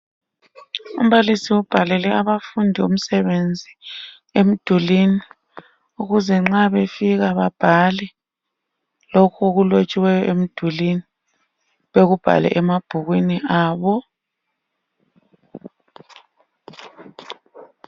Umbalisi ubhalele abafundi umsebenzi emdulini ukuze nxa befika babhale lokhe okulotshiweyo emdulwini. Bekubhale emabhukwini abo.